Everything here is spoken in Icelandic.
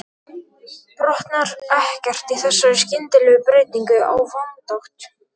Botnar ekkert í þessari skyndilegu breytingu á vindátt.